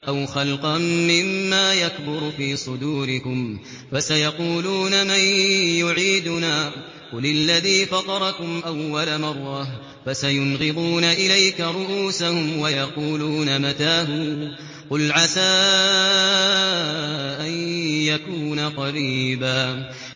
أَوْ خَلْقًا مِّمَّا يَكْبُرُ فِي صُدُورِكُمْ ۚ فَسَيَقُولُونَ مَن يُعِيدُنَا ۖ قُلِ الَّذِي فَطَرَكُمْ أَوَّلَ مَرَّةٍ ۚ فَسَيُنْغِضُونَ إِلَيْكَ رُءُوسَهُمْ وَيَقُولُونَ مَتَىٰ هُوَ ۖ قُلْ عَسَىٰ أَن يَكُونَ قَرِيبًا